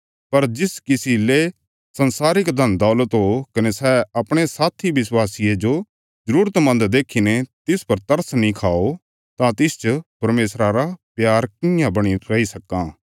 पर जिस किसी ले संसारिक धनदौलत हो कने सै अपणे साथी विश्वासिये जो जरूरत मन्द देखीने तिस पर तरस नीं खाओ तां तिसच परमेशरा रा प्यार कियां बणीने रैई सक्कां